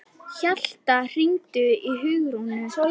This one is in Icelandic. Hjalta, hringdu í Hugrúnu.